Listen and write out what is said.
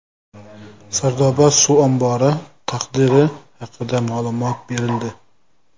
Sardoba suv ombori taqdiri haqida ma’lumot berildi.